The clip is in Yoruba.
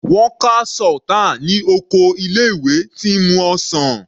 Wọ́n ka Sultan ní oko ilé ìwé tí ń mu ọsàn.